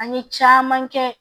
An ye caman kɛ